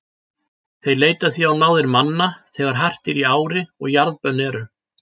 Þeir leita því á náðir manna þegar hart er í ári og jarðbönn eru.